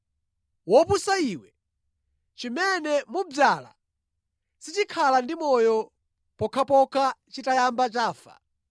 Wopusa iwe! Chimene mudzala sichikhala ndi moyo pokhapokha chitayamba chafa.